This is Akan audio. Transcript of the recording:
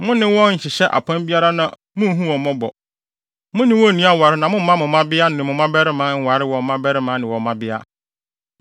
Mo ne wɔn nni aware na mommma mo mmabea ne mo mmabarima nware wɔn mmabarima ne wɔn mmabea.